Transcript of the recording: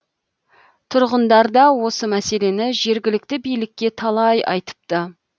тұрғындар да осы мәселені жергілікті билікке талай айтыпты